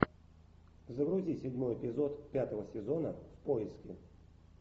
загрузи седьмой эпизод пятого сезона в поиске